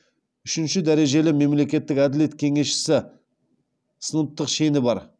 үшінші дәрежелі мемлекеттік әділет кеңесшісі сыныптық шені бар